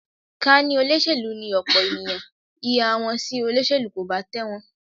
Ká ní olóṣèlú ni ọ̀pọ̀ ènìyàn, ìhà wọn sí olóṣèlú kò bá tẹ̀wọ̀n